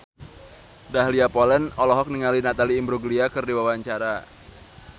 Dahlia Poland olohok ningali Natalie Imbruglia keur diwawancara